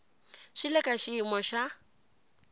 swi le ka xiyimo xa